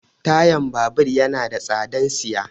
Tayan babur yana da tsadan siya.